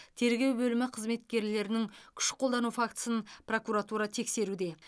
тергеу бөлімі қызметкерлерінің күш қолдану фактісін прокуратура тексеруде